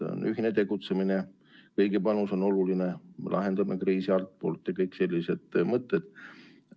Et on ühine tegutsemine, kõigi panus on oluline, lahendame kriisi altpoolt ja kõik sellised mõtted.